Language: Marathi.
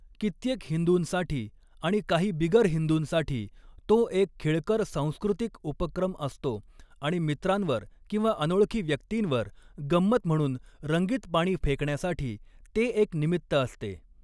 कित्येक हिंदूंसाठी आणि काही बिगर हिंदूंसाठी, तो एक खेळकर सांस्कृतिक उपक्रम असतो आणि मित्रांवर किंवा अनोळखी व्यक्तींवर गंमत म्हणून रंगीत पाणी फेकण्यासाठी ते एक निमित्त असते.